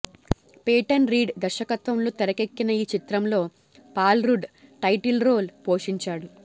Peyton Reed దర్శకత్వంలో తెరకెక్కిన ఈ చిత్రంలో పాల్రుడ్ టైటిల్రోల్ పోషించాడు